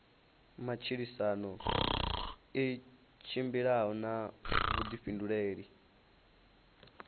matshilisano i tshimbila na vhuḓifhinduleli